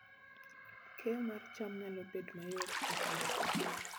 Keyo mar cham nyalo bedo mayot e kinde koth